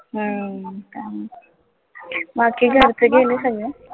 हम्म त्यामुळे बाकी घरचे गेले सगळे?